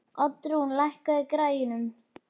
Oddrún, lækkaðu í græjunum.